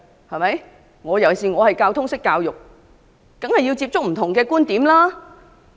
我作為通識教育的教授，當然要接觸不同觀點。